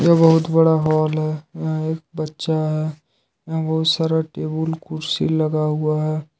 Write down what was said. ये बहुत बड़ा हॉल है यहां एक बच्चा है यहां बहुत सारा टेबल कुर्सी लगा हुआ है।